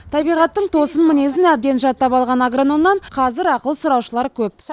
табиғаттың тосын мінезін әбден жаттап алған агрономнан қазір ақыл сұраушылар көп